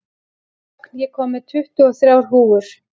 Rögn, ég kom með tuttugu og þrjár húfur!